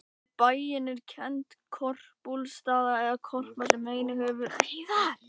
Við bæinn er kennd Korpúlfsstaðaá, eða Korpa, sem einnig hefur verið nefnd Úlfarsá.